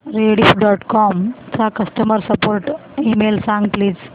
Rediff dot com चा customer support email सांग please